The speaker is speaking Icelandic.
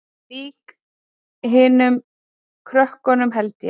Líka hinum krökkunum held ég.